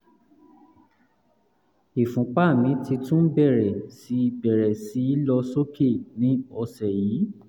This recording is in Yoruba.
ìfúnpá mi ti tún bẹ̀rẹ̀ sí bẹ̀rẹ̀ sí lọ sókè ní ọ̀sẹ̀ yìí